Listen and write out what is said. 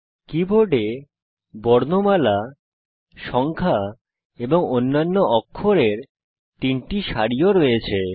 কীবোর্ডে বর্ণমালা সংখ্যা এবং অন্যান্য অক্ষরের তিনটি সারিও রয়েছে